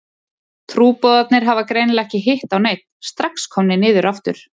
Trúboðarnir hafa greinilega ekki hitt á neinn, strax komnir niður aftur.